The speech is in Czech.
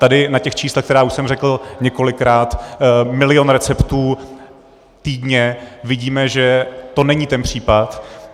Tady na těch číslech, která už jsem řekl několikrát - milion receptů týdně -, vidíme, že to není ten případ.